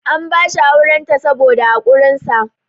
an bashi aurenta saboda haƙurinsa